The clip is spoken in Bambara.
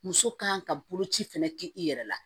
Muso kan ka boloci fɛnɛ kɛ i yɛrɛ la